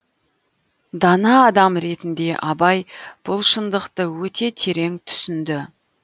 дана адам ретінде абай бұл шындықты өте терең түсінді